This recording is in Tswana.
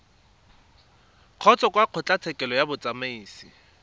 kgotsa kwa kgotlatshekelo ya bosiamisi